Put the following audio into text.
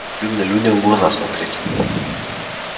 стыдно людям в глаза смотреть